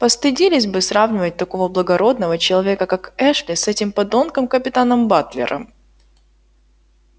постыдились бы сравнивать такого благородного человека как эшли с этим подонком капитаном батлером